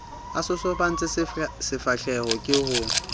a sosobantse difahleho ke ho